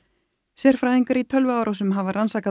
sérfræðingar í tölvuárásum hafa rannsakað